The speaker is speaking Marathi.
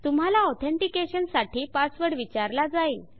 तुम्हाला ऑथेनटिकेशन साठी पासवर्ड विचारला जाईल